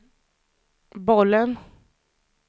bollen